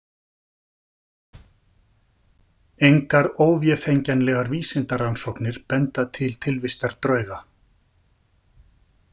Engar óvéfengjanlegar vísindarannsóknir benda til tilvistar drauga.